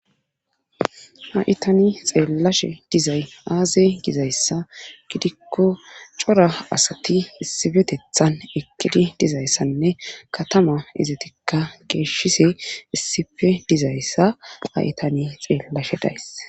Ha7i tani xeellashe dizay aaze gizayssa gidikko cora asati issipetethan eqidi dizayssanne katama izatikka geeshshise issife dizayssa a7itani xeellashe days